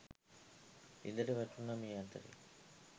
ලිඳට වැටුන මේ අතරෙ.